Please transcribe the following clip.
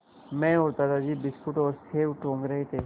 मैं और दादाजी बिस्कुट और सेब टूँग रहे थे